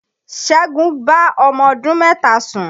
Ṣẹ́gun bá ọmọ ọdún mẹ́ta sùn